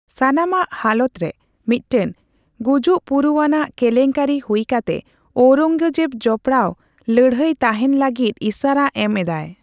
ᱥᱟᱱᱟᱢᱟᱜ ᱦᱟᱞᱚᱛ ᱨᱮ ᱢᱤᱫᱴᱟᱝ ᱜᱩᱡᱩᱵᱯᱩᱨᱩᱟᱱᱟᱜ ᱠᱮᱞᱮᱝᱠᱟᱨᱤ ᱦᱩᱭ ᱠᱟᱛᱮ ᱚᱨᱳᱜᱚᱡᱮᱵ ᱡᱚᱵᱽᱯᱲᱟᱦ ᱞᱚᱯᱲᱟᱣ ᱛᱟᱸᱦᱮᱱ ᱞᱟᱜᱤᱛ ᱤᱥᱟᱹᱨᱟ ᱮᱢ ᱮᱫᱟᱭ ᱾